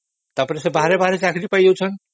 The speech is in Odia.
ତାପରେ ସେ ବାହାରେ ଚାକିରୀ ପାଇଁ ଯାଉଛନ୍ତି